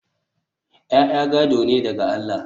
ya'ya gado ne daga Allah